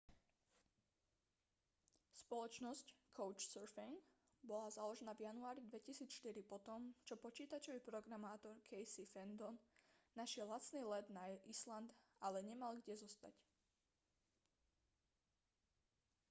spoločnosť couchsurfing bola založená v januári 2004 po tom čo počítačový programátor casey fenton našiel lacný let na island ale nemal kde zostať